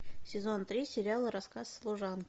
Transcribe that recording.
сезон три сериала рассказ служанки